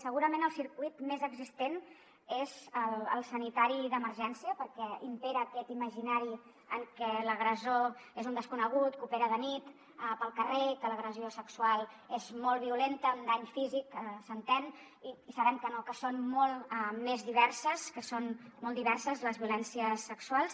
segurament el circuit més existent és el sanitari d’emergència perquè impera aquest imaginari en què l’agressor és un desconegut que opera de nit pel carrer que l’agressió sexual és molt violenta amb dany físic s’entén i sabem que no que són molt diverses les violències sexuals